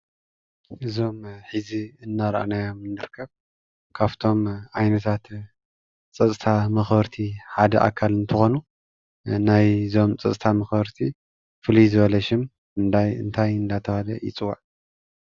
እዞም ሕዚ እናራእናዮም ንርከብ ካብቶም ዓይነታት ፀፅጥታ መክበርቲ ሓደ ኣካል እንትኮኑ ናይ ፀጥታ መክበርቲ ፍልይ ዝበለ ሹም ናይ እንታይ እንዳተባህለ ይፅዋዕ?